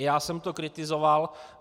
I já jsem to kritizoval.